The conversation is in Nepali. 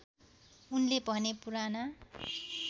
उनले भने पुराना